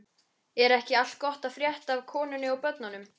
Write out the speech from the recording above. Er ekki allt gott að frétta af konunni og börnunum?